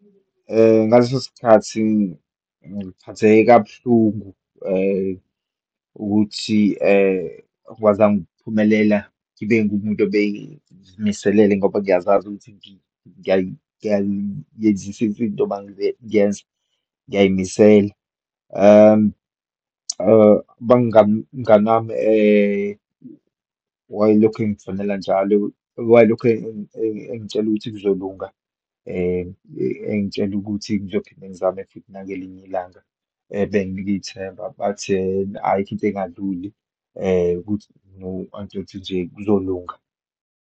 Ngaleso sikhathi ngiphatheke kabuhlungu ukuthi angikwazanga ukuphumelela ngibe ngumuntu abeyimiselele ngoba ngiyazazi ukuthi ngiyayenzisisa into uma ngiyenza, ngiyayimisela. Umnganami wayelokhu engikufonela njalo, wayelokhu engitshela ukuthi kuzolunga, engitshela ukuthi ngizophinde ngizame futhi nangelinye ilanga benginika ithemba. Bathi ayikho into engadluli angitshela ukuthi nje kuzolunga.